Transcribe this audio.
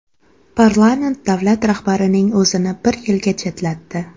Parlament davlat rahbarining o‘zini bir yilga chetlatdi.